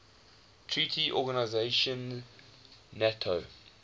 treaty organization nato